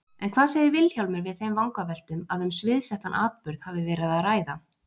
En hvað segir Vilhjálmur við þeim vangaveltum að um sviðsettan atburð hafi verið að ræða?